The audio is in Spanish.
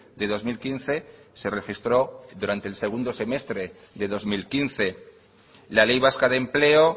de dos mil quince se registró durante el segundo semestre de dos mil quince la ley vasca de empleo